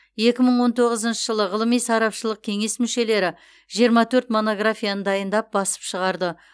екі мың он тоғызыншы жылы ғылыми сарапшылық кеңес мүшелері жиырма төрт монографияны дайындап басып шығарды